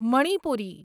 Manipuri